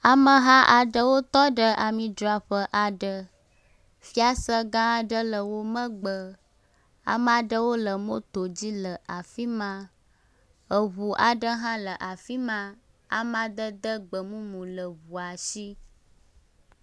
Ameha aɖe wotɔ ɖe ami dzraƒe aɖe, fiase ga aɖe le womegbe, ame aɖewo le moto dzi le afi ma, eŋu aɖe hã le afi ma, amadede gbemumu le eŋua si